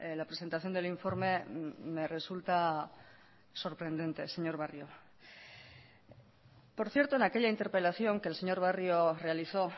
la presentación del informe me resulta sorprendente señor barrio por cierto en aquella interpelación que el señor barrio realizó